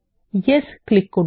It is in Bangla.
য়েস ক্লিক করুন